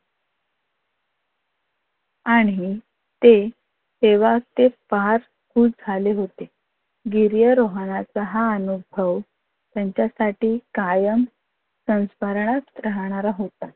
आणि ते तेव्हा ते फार खुश झाले होते. गिर्यारोहणाचा हा अनुभव त्यांच्यासाठी कायम संस्मरणात राहणारा होता.